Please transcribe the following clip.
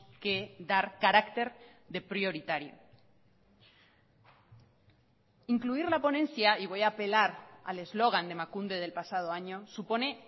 que dar carácter de prioritario incluir la ponencia y voy a apelar al eslogan de emakunde del pasado año supone